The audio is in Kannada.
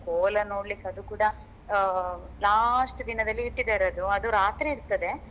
ಕೋಲ ನೋಡ್ಲಿಕ್ಕೆ ಅದು ಕೂಡ ಅಹ್ last ದಿನದಲ್ಲಿ ಇಟ್ಟಿದ್ದಾರೆ ಅದು ರಾತ್ರಿ ಇರ್ತದೆ.